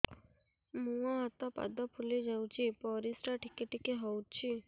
ମୁହଁ ହାତ ପାଦ ଫୁଲି ଯାଉଛି ପରିସ୍ରା ଟିକେ ଟିକେ ହଉଛି